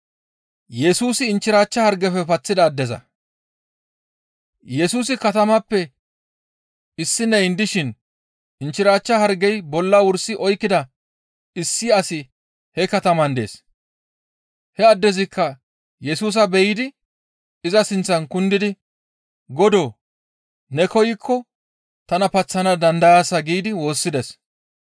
Yesusi katamatappe issineyn dishin inchchirachcha hargey bolla wursi oykkida issi asi he kataman dees; he addezikka Yesusa be7idi iza sinththan kundidi, «Godoo! Ne koykko tana paththana dandayaasa» giidi woossides.